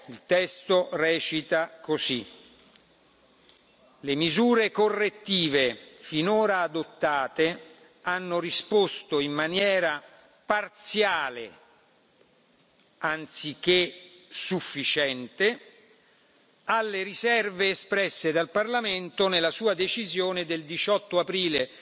Il testo recita così Le misure correttive finora adottate hanno risposto in maniera parziale anziché sufficiente alle riserve espresse dal Parlamento nella sua decisione del 18 aprile